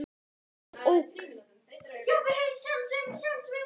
Birkir ók.